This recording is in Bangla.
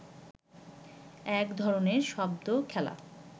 এক ধরনের শব্দ খেলা